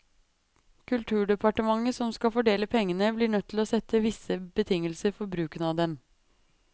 Kulturdepartementet som skal fordele pengene blir nødt til å sette visse betingelser for bruken av dem.